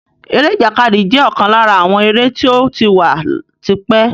Eré ìjàkadì jẹ́ ọ̀kan lára àwọn eré tí ó ti wà tipẹ́